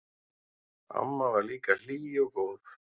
Amma var líka hlý og góð.